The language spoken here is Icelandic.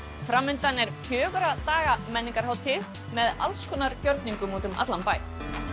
framundan er fjögurra daga menningarhátíð með alls konar gjörningum út um allan bæ